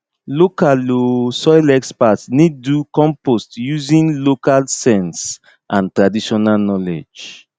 local um soil experts need do compost using local sense and traditional knowledge